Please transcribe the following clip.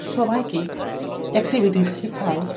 সবাইকে একটিভিটি শিখায়।